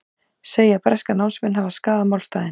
Segja breska námsmenn hafa skaðað málstaðinn